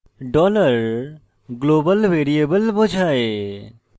$global variable বোঝায়